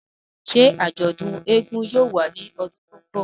Ṣe ajọdun éégún yóò wa ni ọdun to nbọ?